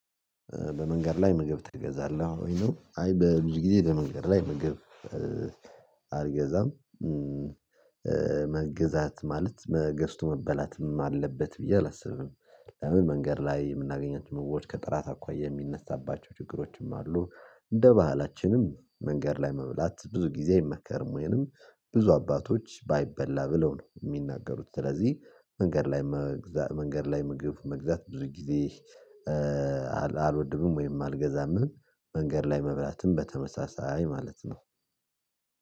በመንገድ ላይ ምግብ ተገዛለሁ አይ በብዙ ጊዜ በመንገድ ላይ ምግብ አልገዛም። መገዛት ማለት መገዝቶ መበላትም አለበት ብዬ አላስብም። ለምን መንገድ ላይ የምናገኛት መውረድ ከጥራት አኳያ የሚነሳባቸው ችግሮችም አሉ። እንደ ባህላችንም መንገድ ላይ መብላት ብዙ ጊዜ የሚመከርም ወይንም ብዙ አባቶች ባይበላ ብለው ነው የሚናገሩት። ስለዚህ መንገድ ላይ መንገድ ላይ መግዛት ብዙ ጊዜ አልወድኑም ወይም አልገዛም። መንገድ ላይ መብላትም በተመሳሳይ ማለት ነው።